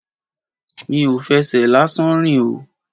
Mi ò fẹsẹ̀ lásán rìn o.